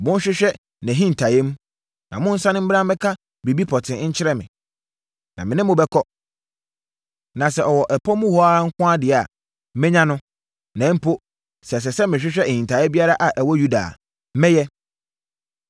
Monhwehwɛ nʼahintaeɛm, na monsane mmra mmɛka biribi pɔtee nkyerɛ me. Na me ne mo bɛkɔ. Na sɛ ɔwɔ ɛpɔ mu hɔ nko ara deɛ a, mɛnya no, na mpo, sɛ ɛsɛ sɛ mehwehwɛ ahintaeɛ biara a ɛwɔ Yuda a, mɛyɛ!”